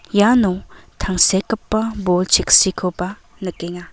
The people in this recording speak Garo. iano tangsekgipa bol cheksikoba nikenga.